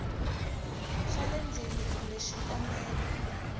xa le ndzeni kumbe xikombelo